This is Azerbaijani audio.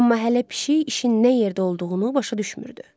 Amma hələ pişik işin nə yerdə olduğunu başa düşmürdü.